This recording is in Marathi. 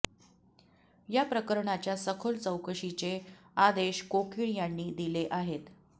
या प्रकरणाच्या सखोल चौकशीचे आदेश कोकीळ यांनी दिले आहेत